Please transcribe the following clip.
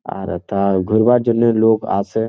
আর এথা ঘুরবার জন্য লোক আসে।